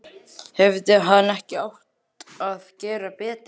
Hefði hann ekki átt að gera betur?